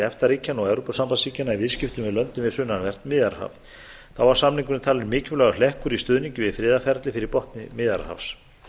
efta ríkjanna og evrópusambandsríkjanna í viðskiptum við löndin um sunnanvert miðjarðarhaf þá var samningurinn talinn mikilvægur hlekkur í stuðningi við friðarferli fyrir botni miðjarðarhafs